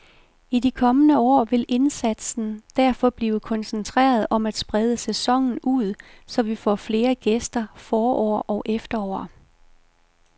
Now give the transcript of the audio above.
I de kommende år vil indsatsen derfor blive koncentreret om at sprede sæsonen ud, så vi får flere gæster forår og efterår.